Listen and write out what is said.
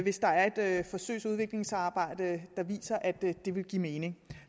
hvis der er et forsøgsudviklingsarbejde der viser at det vil give mening